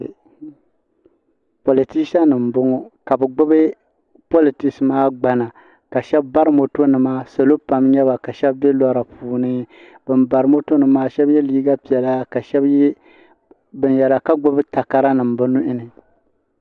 politisa nim n bɔŋɔ ka bi gbubi politis maa gbana shab bari moto nima salo pam n nyɛba ka shab bɛ lora puuni bin bari moto nim maa shab yɛ liiga piɛla ka shab yɛ liiga binyɛra ka gbubi takara nim bi nuhini